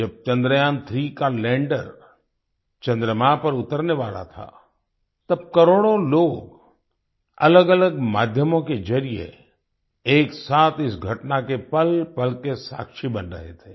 जब चंद्रयान3 का लैंडर चंद्रमा पर उतरने वाला था तब करोड़ों लोग अलगअलग माध्यमों के जरिए एक साथ इस घटना के पलपल के साक्षी बन रहे थे